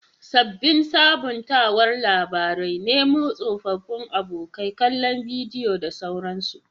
Sabbin sabuntawar labarai, Nemo tsofaffin abokai, kallon bidiyo da sauransu.